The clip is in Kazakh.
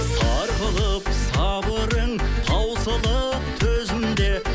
сарпылып сабырың таусылып төзім де